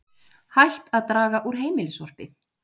Hætt að draga úr heimilissorpi